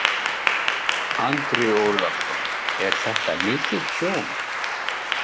Andri Ólafsson: Er þetta mikið tjón?